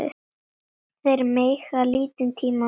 Þeir mega lítinn tíma missa.